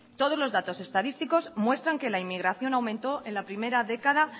todos los datos estadísticos muestran que la inmigración aumentó en la primera década